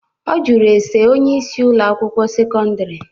Ọ jụrụ ese onyeisi Ụlọ akwụkwọ sekọndrị.